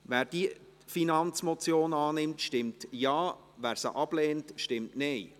Wer dieser Finanzmotion zustimmt, stimmt Ja, wer diese ablehnt, stimmt Nein.